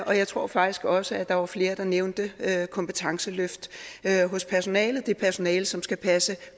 og jeg tror faktisk også at der var flere der nævnte kompetenceløft hos personalet det personale som skal passe